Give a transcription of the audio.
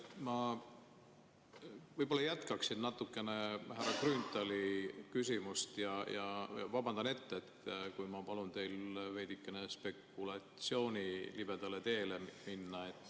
Ma võib-olla jätkan natukene härra Grünthali küsimust ja vabandan ette, kui ma palun teil veidikene spekulatsiooni libedale teele minna.